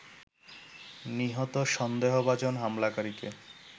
নিহত সন্দেহভাজন হামলাকারীকে